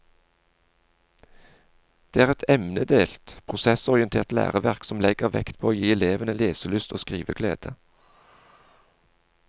Det er et emnedelt, prosessorientert læreverk som legger vekt på å gi elevene leselyst og skriveglede.